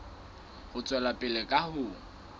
ho tswela pele ka ho